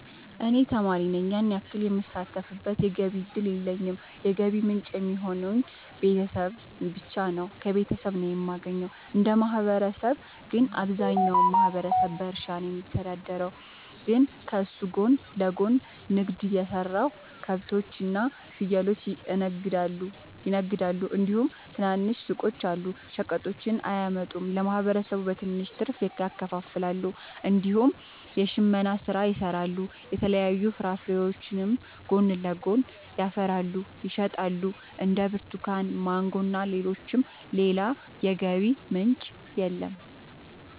እኔ ተማሪ ነኝ ያን ያክል የምሳተፍበት የገቢ እድል የለኝም የገቢ ምንጭ የሚሆኑኝ ቤተሰብ ብቻ ነው። ከቤተሰብ ነው የማገኘው። እንደ ማህበረሰብ ግን አብዛኛው ማህበረሰብ በእርሻ ነው የሚተዳደር ግን ከሱ ጎን ለጎን ንግድ የሰራሉ ከብቶች እና ፍየሎችን ይነግዳሉ እንዲሁም ትናንሽ ሱቆች አሉ። ሸቀጦችን እያመጡ ለማህበረሰቡ በትንሽ ትርፍ ያከፋፍላሉ። እንዲሁም የሽመና ስራ ይሰራሉ የተለያዩ ፍራፍሬዎችንም ጎን ለጎን ያፈሩና ይሸጣሉ እንደ ብርቱካን ማንጎ እና ሌሎችም። ሌላ የገቢ ምንጭ የለም።